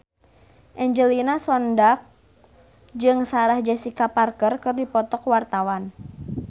Angelina Sondakh jeung Sarah Jessica Parker keur dipoto ku wartawan